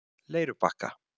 Leirubakka